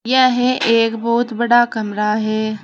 यह एक बहुत बड़ा कमरा है।